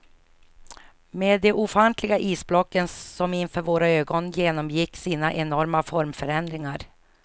Med de ofantliga isblocken som inför våra ögon genomgick sina enorma formförändringar.